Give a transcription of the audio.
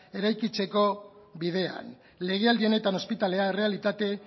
eraikitzeko bidean legealdi honetan ospitalea errealitate